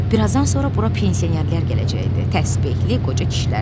Birazdan sonra bura pensionerlər gələcəkdi, təsbehli qoca kişilər.